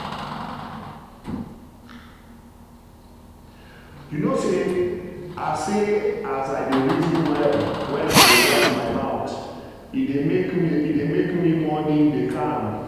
you know say as say as i dey reason well when i dey wash my mouth e dey make me morning dey calm.